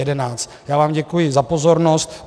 Já vám děkuji za pozornost.